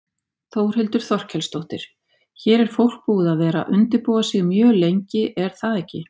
Þórhildur Þorkelsdóttir: Hér er fólk búið að vera undirbúa sig mjög lengi er það ekki?